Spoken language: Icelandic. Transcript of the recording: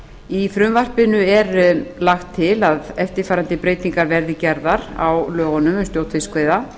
í frumvarpinu er lagt til að eftirfarandi breytingar verði gerðar á lögunum um stjórn fiskveiða